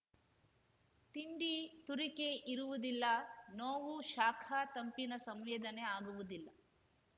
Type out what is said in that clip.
ತಿಂಡಿ ತುರಿಕೆ ಇರುವುದಿಲ್ಲ ನೋವು ಶಾಖ ತಂಪಿನ ಸಂವೇದನೆ ಆಗುವುದಿಲ್ಲ